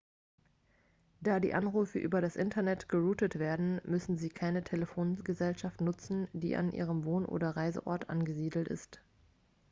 da die anrufe über das internet geroutet werden müssen sie keine telefongesellschaft nutzen die an ihrem wohn oder reiseort angesiedelt ist